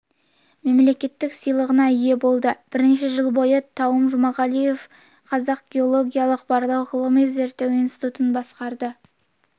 мемлекеттік сыйлығына ие болды бірнеше жыл бойы тауым жұмағалиев қазақ геологиялық барлау ғылыми-зерттеу институтын басқарды